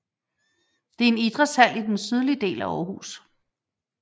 Det er en idrætshal i den sydlige del af Aarhus